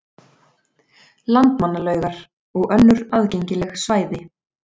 Landmannalaugar og önnur aðgengileg svæði.